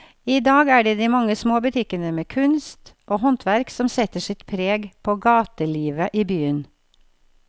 I dag er det de mange små butikkene med kunst og håndverk som setter sitt preg på gatelivet i byen.